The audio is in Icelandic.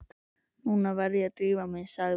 Nú verð ég að drífa mig, sagði